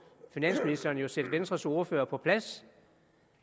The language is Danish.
finansministeren jo sætte venstres ordfører på plads